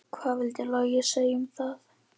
Hvað vildi Logi segja um það?